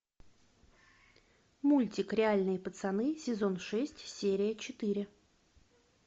мультик реальные пацаны сезон шесть серия четыре